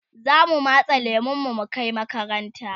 zamu matse lemun mu Kai makaranta